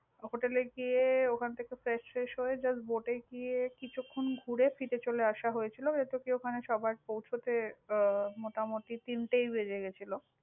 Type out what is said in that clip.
hotel এ গিয়ে ওখান থেকে fresh tresh হয়ে, just bote এ গিয়ে কিছুক্ষণ ঘুরে, ফিরে চলে আশা হয়েছিলো। ওখানে সবার পৌছাতে আহ মোটামুটি তিনটেই বেজে গেছিল।